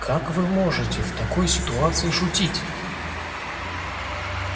как вы можете в такой ситуации шутить